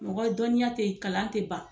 Mɔgɔ dɔnniya tɛ kalan tɛ ban.